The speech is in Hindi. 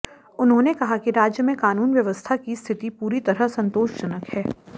उन्होंने कहा कि राज्य में कानून व्यवस्था की स्थिति पूरी तरह संतोषजनक है